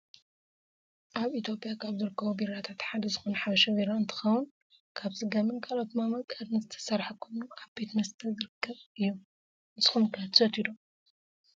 ኣብ ኢትዮጵያ ካብ ዝርከቡ ቢራታት ሓደ ዝኮነ ሓበሻ ቢራ እንትከውን፣ ካብ ስገምን ካልኦት መምቀርን ዝተሰረሓ ኮይኑ ኣብ ቤት መስተ ዝርከብ እዩ። ንስኩም'ከ ትሰትዩ ዶ ?